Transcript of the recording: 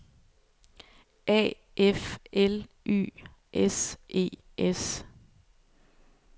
A F L Y S E S